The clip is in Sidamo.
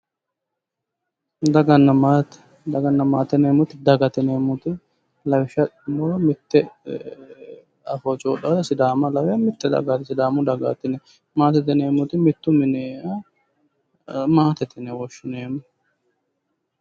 Daganna maate, daganna maate yineemmoti dagate yineemmoti lawishsha adhinummoro mitte afoo coyiidhata sidaama lawe sidaamu dagaati yineemmo, maatete yineemmoti mittu minira maatete yine woshshineemmo.